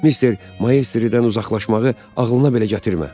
Mister Maestriddən uzaqlaşmağı ağlına belə gətirmə.